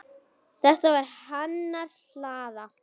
Þetta var hennar hlaða.